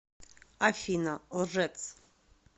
афина лжец